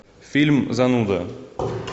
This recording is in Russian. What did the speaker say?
фильм зануда